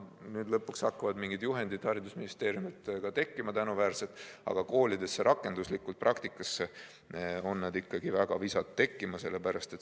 Nüüd lõpuks hakkavad mingid juhendid haridusministeeriumilt tekkima, aga koolide praktikas on need ikkagi väga visalt juurdunud.